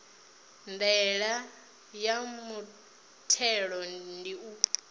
ndaela ya muthelo ndi u